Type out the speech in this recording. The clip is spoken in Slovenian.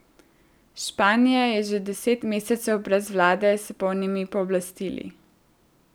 Španija je že deset mesecev brez vlade s polnimi pooblastili.